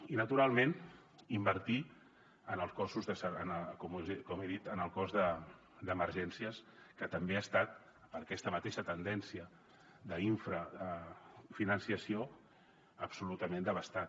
i naturalment invertir en els cossos com he dit en el cos d’emergències que també ha estat per aquesta mateixa tendència d’infrafinançament absolutament devastat